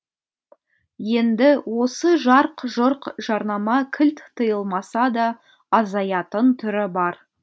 енді осы жарқ жұрқ жарнама кілт тыйылмаса да азаятын түрі бар